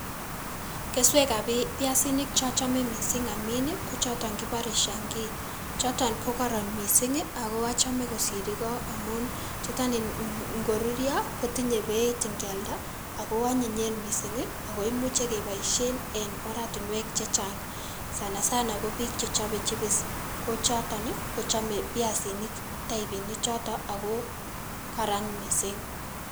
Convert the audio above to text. Keswekab pi piasinik chochome missing' amin kochoton kibore Shangii, choton kokoron missing' ago ochome kosir iko amun chuton ngorurio kotinye beit ingialda ago onyinyen missing' ako imuche keboisien en oratinuek chechang' sana sana kobik chechope chipis kochoton kochome piasinik taipini choton ogo koron missing'.